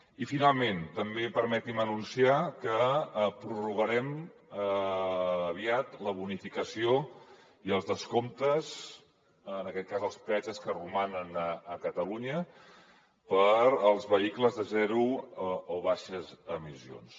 i finalment també permeti’m anunciar que prorrogarem aviat la bonificació i els descomptes en aquest cas als peatges que romanen a catalunya per als vehicles de zero o baixes emissions